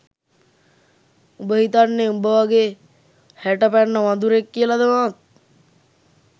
උඹ හිතන්නෙ උඹ වගේ හැට පැන්න වඳුරෙක් කියලද මාත්?